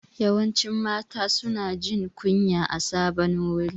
Yawancin mata su na jin kunya a sabon wuri